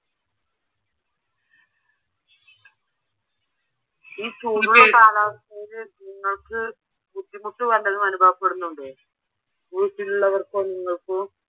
ഈ ചൂട് കാലാവസ്ഥയില് നിങ്ങക്ക് ബുദ്ധിമുട്ട് വല്ലതും അനുഭവപ്പെടുന്നുണ്ടോ? വീട്ടിലുള്ളവർക്കോ നിങ്ങക്കൊ?